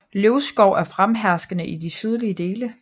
Løvskov er fremherskende i de sydlige dele